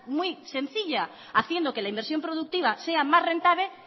muy sencilla haciendo que la inversión productiva sea más rentable